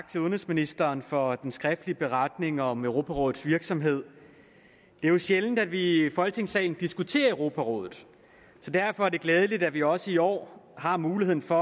til udenrigsministeren for den skriftlige beretning om europarådets virksomhed det er jo sjældent at vi i folketingssalen diskuterer europarådet så derfor er det glædeligt at vi også i år har muligheden for